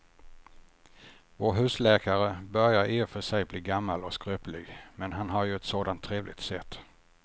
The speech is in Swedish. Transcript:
Vår husläkare börjar i och för sig bli gammal och skröplig, men han har ju ett sådant trevligt sätt!